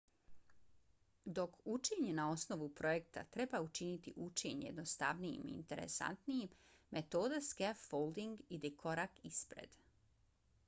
dok učenje na osnovu projekta treba učiniti učenje jednostavnijim i interesantnijim metoda scaffolding ide korak ispred